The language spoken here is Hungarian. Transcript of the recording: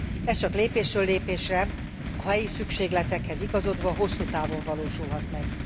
Ez csak lépésről lépésre, a helyi szükségletekhez igazodva, hosszú távon valósulhat meg.